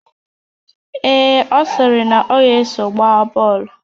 Ee, ọ sịrị na ọ ga-eso gbaa bọọlụ